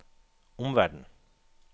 omverden